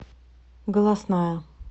голосная